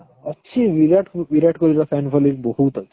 ଅଛି ବିରାଟ କୋହଲିର fan following ବହୁତ ଅଛି